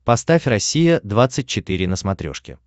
поставь россия двадцать четыре на смотрешке